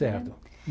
Certo.